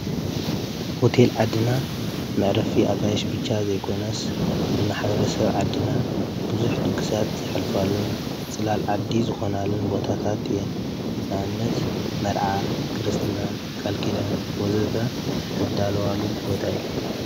ሆቴል ዓድና መዕረፊ ኣጋይሽ ብቻ ዘይኮነስ ንማሕበረሰብ ዓድና ብዙሕ ድግሳት ዘሐልፋሉን ፅላል ዓዲ ዝኾናሉን ቦታታት እየን። ንኣብነት መርዓ፣ ክርስትና፣ ቃልኪዳን ወዘተ ዝዳለዋሉ ቦታ እዩ።